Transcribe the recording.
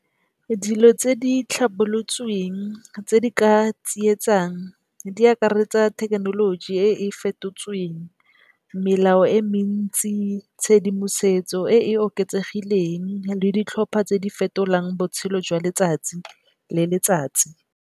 Dilo tse di tlhabolotsweng tse di ka tsietsang di akaretsa thekenoloji e e fetotsweng, melao e mentsi, tshedimosetso e e oketsegileng le ditlhopha tse di fetolang botshelo jwa letsatsi le letsatsi.